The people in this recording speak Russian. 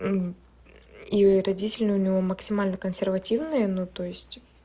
и родители у него максимально консервативные ну то есть